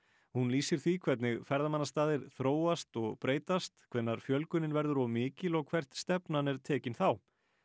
hún lýsir því hvernig ferðamannastaðir þróast og breytast hvenær fjölgunin verður of mikil og hvert stefnan er tekin þá